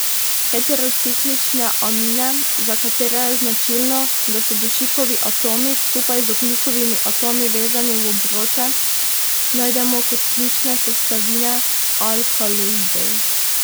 Heterociklične amine, za katere je značilno, da so dušikovi atomi skupaj z ogljikovimi atomi vezani v obroče, najdemo kot ključne sestavine alkaloidov.